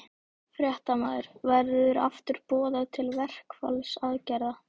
Fréttamaður: Verður aftur boðað til verkfallsaðgerða?